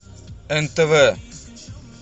нтв